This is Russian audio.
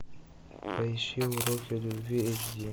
поищи уроки любви эйч ди